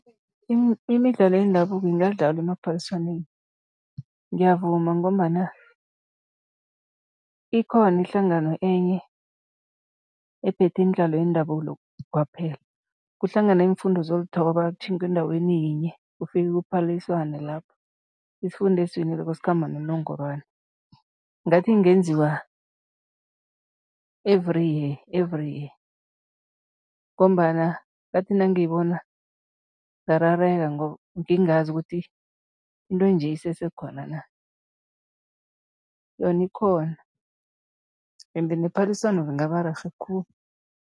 Imidlalo yendabuko ingadlalwa emaphaliswaneni, ngiyavuma ngombana ikhona ihlangano enye ephethe imidlalo yendabulo kwaphela. Kuhlangana iimfundo zolithoba, kutjhingwe endaweni yinye, kufike kuphaliswane lapho, isifunda esiwinileko sikhamba nonongorwana. Ngathi kungenziwa every year, every year ngombana ngathi nangiyibona ngarareka ngoba ngingazi ukuthi into enje isesekhona na? Yona ikhona, ende nephaliswano lingaba rerhe khulu.